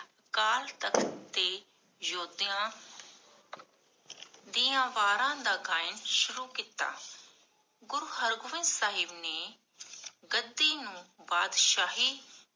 ਅਕਾਲ ਤਖ਼ਤ ਦੇ ਯੋਧਿਆਂ ਦੀਆਂ ਵਾੜਾਂ ਦਾ ਗਾਅਨ ਸ਼ੁਰੂ ਕੀਤਾ। ਗੁਰੂ ਹਰ ਗੋਬਿੰਦ ਸਾਹਿਬ ਨੇ ਗੱਦੀ ਨੂੰ ਪਾਤਸ਼ਾਹੀ